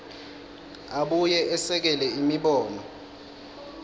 abuye esekele imibono